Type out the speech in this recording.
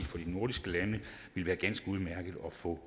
for de nordiske lande vil være ganske udmærket at få